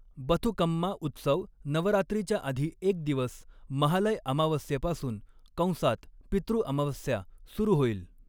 बथुकम्मा उत्सव नवरात्रीच्या आधी एक दिवस, महालय अमावस्येपासून कंसात पितृ अमावस्या सुरू होईल.